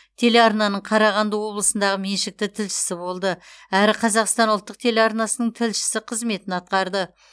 телеарнаның қарағанды облысындағы меншікті тілшісі болды әрі қазақстан ұлттық телеарнасының тілшісі қызметін атқарды